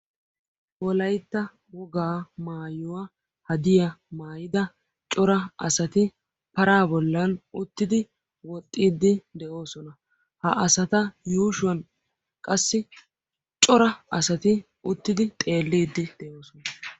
wolaytta wogaa maayuwa haddiya maayida cora asaa paraa bollan uttidi woxxiidi de'oosona. ha asata yuushuwan qassi cora asati uttidi xeeliidi de'oosona.